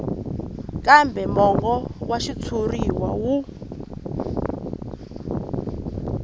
kambe mongo wa xitshuriwa wu